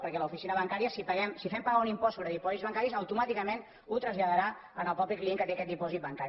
perquè l’oficina bancària si paguem si fem pagar un impost sobre dipòsits bancaris automàticament ho traslladarà al mateix client que té aquest dipòsit bancari